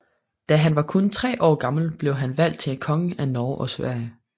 Da han var kun tre år gammel blev han valgt til konge af Norge og Sverige